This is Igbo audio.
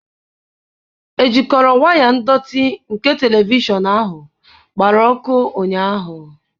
Ejikọrọ waya ndọtị nke telivishọn ahụ gbara ọkụ ụnyahụ.